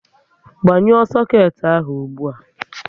Gbanyuo soket ahụ ụgbụa!